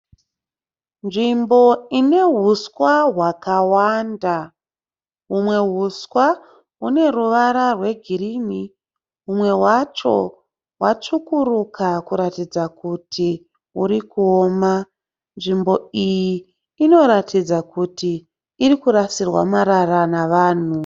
Nzvimbo ine huswa hwakawanda. Humwe huswa hune ruvara rwe girini humwe hwacho hwatsvukuruka kuratidza kuti huri kuoma. Nzvimbo iyi inoratidza kuti irikurasirwa marara navanhu.